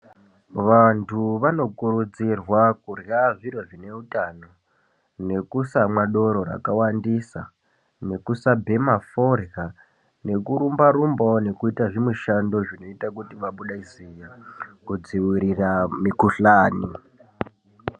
Vantu vanokurudzirwa kurya zviro zvine utano, nekusamwa doro rakawandisa, nekusabhema forya, nekurumba-rumbawo nekuita zvimishando zvinoita kuti vabude ziya kudzivirira mikuhlani.